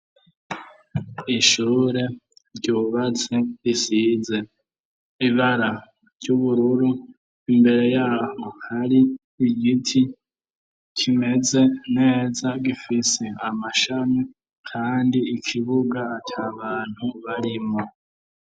ishure ryubatse isize ibara ry'ubururu imbere yabo hari igiti kimeze neza gifise amashami kandi ikibuga atabantu barimwo